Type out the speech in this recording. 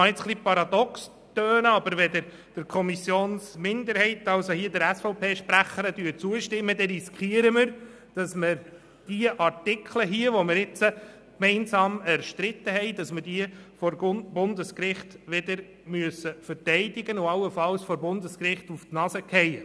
Es mag paradox klingen, aber wenn wir der Kommissionsminderheit, also im vorliegenden Fall der SVP-Sprecherin, zustimmen, dann riskieren wir, dass wir diese Artikel, die wir nun gemeinsam erstritten haben, vor Bundesgericht verteidigen müssen und dabei allenfalls auf die Nase fallen.